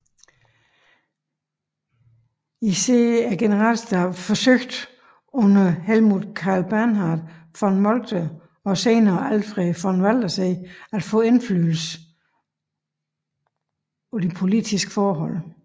Især generalstaben forsøgte under Helmuth Karl Bernhard von Moltke og senere Alfred von Waldersee at få indflydelse på politiske forhold